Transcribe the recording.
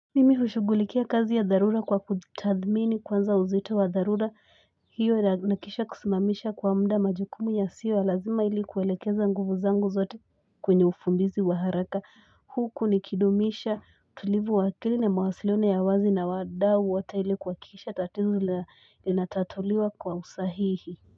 Mimihushugulikia kazi ya dharura kwa kutathmini kwanza uzito wa dharura hiyo na nahakikisha kusimamisha kwa mda majukumu ya siyo ya lazima ilikuelekeza nguvu zangu zote kwenye ufumbizi wa haraka huku nikidumisha tulivu wa akili na mawasiliano ya wazi na wadau wote ili kuakikisha tatizo linatatuliwa kwa usahihi.